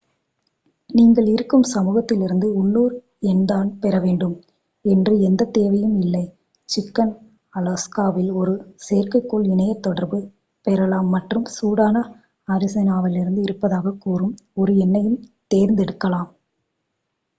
நீங்கள் இருக்கும் சமூகத்திலிருந்து உள்ளூர் எண்தான் பெற வேண்டும் என்று எந்தத் தேவையும் இல்லை சிக்கன் அலாஸ்கா வில் ஒரு செயற்கைக்கோள் இணையத் தொடர்பு பெறலாம் மற்றும் சூடான அரிசோனாவில் இருப்பதாகக் கூறும் ஒரு எண்ணையும் தேர்ந்தெடுக்கலாம்